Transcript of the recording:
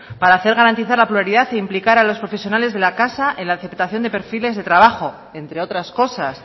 para hacer garantizar la pluralidad e implicar a los profesionales de la casa en la aceptación de perfiles de trabajo entre otras cosas